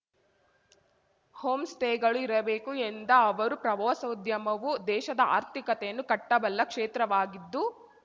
home ಸ್ಟೇಗಳು ಇರಬೇಕು ಎಂದ ಅವರು ಪ್ರವಾಸೋದ್ಯಮವು ದೇಶದ ಆರ್ಥಿಕತೆಯನ್ನು ಕಟ್ಟಬಲ್ಲ ಕ್ಷೇತ್ರವಾಗಿದ್ದು